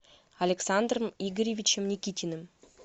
александром игоревичем никитиным